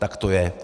Tak to je.